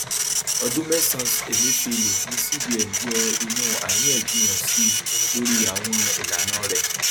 ọdún mẹsànan emefiele ní cbn yó inú àríyànjiyàn síi lórí àwọn ìlànà rẹ